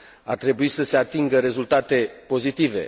Ar trebui să se atingă rezultate pozitive